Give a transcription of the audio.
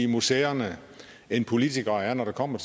museerne end politikere er når det kommer